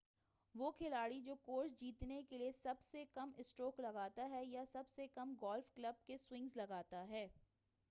وہ کھلاڑی جو کورس جیتنے کے لئے سب سے کم اسٹروک لگاتا ہے یا سب سے کم گالف کلب کے سوئنگز لگاتا ہے